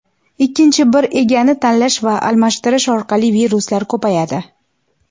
ikkinchi bir "ega"ni tanlash va almashtirish orqali viruslar ko‘payadi.